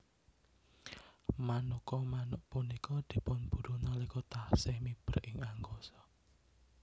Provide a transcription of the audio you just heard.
Manuka manuk punika dipunburu nalika taksih miber ing angkasa